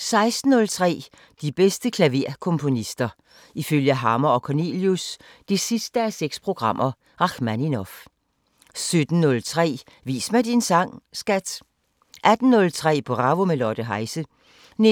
16:03: De bedste klaverkomponister – ifølge Hammer & Cornelius (6:6): Rakhmaninov 17:03: Vis mig din sang, skat! 18:03: Bravo – med Lotte Heise 19:20: